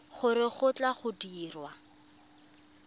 gore go tle go dirwe